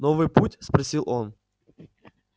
новый путь спросил он